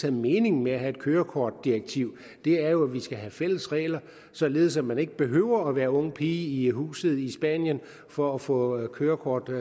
er meningen med at have et kørekortdirektiv er jo at vi skal have fælles regler således at man ikke behøver at være ung pige i huset i spanien for at få et kørekort